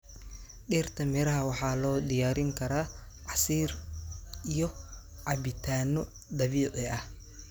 Dhirta miraha waxaa loo diyaarin karaa casiir iyo cabitaanno dabiici ah.